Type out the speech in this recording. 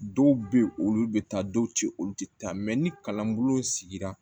Dɔw bɛ yen olu bɛ taa dɔw tɛ olu tɛ taa ni kalanbolo sigira